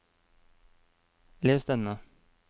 les denne